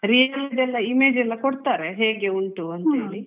ನೀವ್ ಅದ್ರಲ್ಲಿ ನಿಮಿಗೆ ದ್ದು image ಎಲ್ಲ ಕೊಡ್ತಾರೆ ಹೇಗೆ ಉಂಟು ಅಂತೇಳಿ.